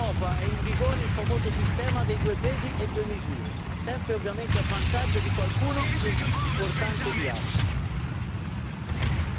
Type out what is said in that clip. Ma vedo che anche in Europa è in vigore il sistema dei due pesi e due misure sempre ovviamente a vantaggio di qualcuno più importante di altri.